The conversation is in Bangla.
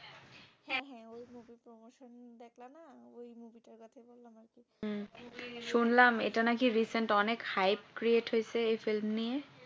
শুনলাম এটা নাকি recent অনেক hype create হয়েছে এই film নিয়ে